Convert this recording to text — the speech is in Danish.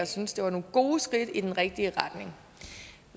synes det var nogle gode skridt i den rigtige retning